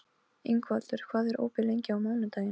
Ingvaldur, hvað er opið lengi á mánudaginn?